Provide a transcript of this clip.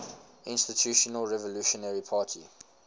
institutional revolutionary party